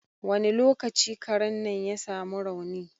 Wani lokaci Karen nan ya sa mu rauni?